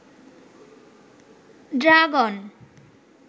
dragon